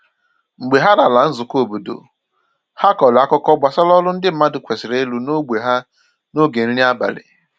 Mgbe ha lara nzùkọ̀ óbọ̀dò, ha kọrọ àkùkọ̀ gbasà ọrụ ndị mmadụ kwesịrị ịrụ n’ógbè ha n’oge nri abalị